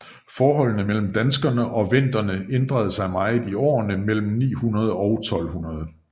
Forholdet mellem danskerne og venderne ændrede sig meget i årene mellem 900 og 1200